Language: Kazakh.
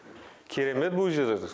керемет бұл жерде